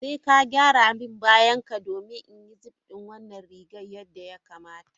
Sai ka gyara min bayanka domin in yi zip din wannan rigar yadda ya kamata.